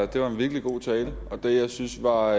det var en virkelig god tale og det jeg syntes var